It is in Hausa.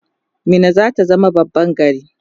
Minna zata zama babban gari